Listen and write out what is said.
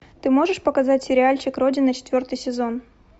ты можешь показать сериальчик родина четвертый сезон